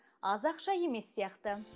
аз ақша емес сияқты